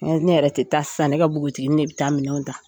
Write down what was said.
Ne yɛrɛ tɛ taa sisan ne ka npogotiginin ne bɛ taa minɛnw ta